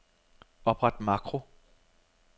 Opret makro.